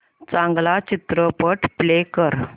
चांगला चित्रपट प्ले कर